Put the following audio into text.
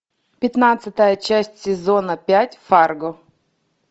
пятнадцатая часть сезона пять фарго